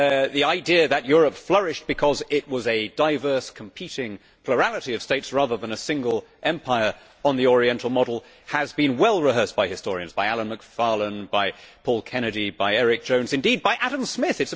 The idea that Europe flourished because it was a diverse, competing plurality of states rather than a single empire on the oriental model has been well rehearsed by historians, by Alan Macfarlane, by Paul Kennedy, by Eric Jones, indeed by Adam Smith.